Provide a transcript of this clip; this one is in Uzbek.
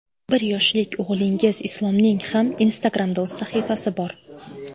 Bir yoshlik o‘g‘lingiz Islomning ham Instagram’da o‘z sahifasi bor.